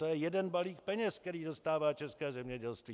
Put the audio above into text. To je jeden balík peněz, který dostává české zemědělství.